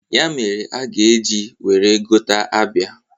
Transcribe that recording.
Ya mere a ga-eji were gota abịa.